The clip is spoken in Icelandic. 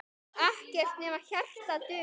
Ekkert nema hjarta dugar.